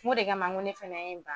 N ko de kama ne fɛnɛ ye n ban